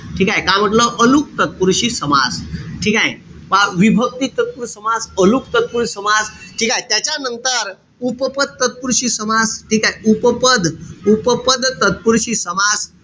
ठीकेय? का म्हंटल? अलुक तत्पुरुषी समास. ठीकेय? पहा विभक्ती तत्पुरुषी समास, अलुक तत्पुरुषी समास. ठीकेय? त्याच्यानंतर उपपद तत्पुरुषी समास. ठीकेय? उपपद उपपद तत्पुरुषी समास.